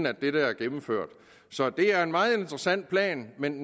at det der er gennemført så det er en meget interessant plan men